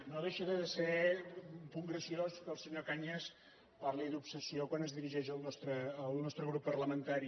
no deixa de ser un punt graciós que el senyor cañas parli d’ obsessió quan es dirigeix al nostre grup parlamentari